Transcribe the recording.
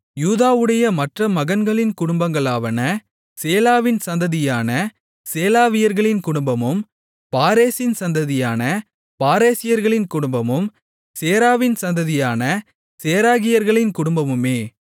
யூதாவுடைய மற்ற மகன்களின் குடும்பங்களாவன சேலாவின் சந்ததியான சேலாவியர்களின் குடும்பமும் பாரேசின் சந்ததியான பாரேசியர்களின் குடும்பமும் சேராவின் சந்ததியான சேராகியர்களின் குடும்பமுமே